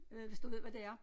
Øh hvis du ved hvad det er